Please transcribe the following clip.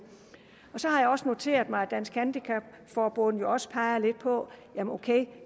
så har jeg også noteret mig at dansk handicap forbund også peger lidt på